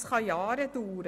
Das kann Jahre dauern.